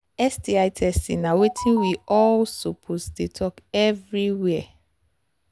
sti testing na watin we all suppose they talk everywhere